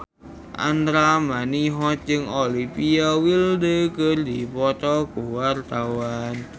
Andra Manihot jeung Olivia Wilde keur dipoto ku wartawan